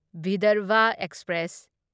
Vidarbha express